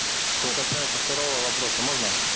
что касается второго вопроса можно